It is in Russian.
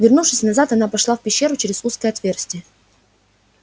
вернувшись назад она пошла в пещеру через узкое отверстие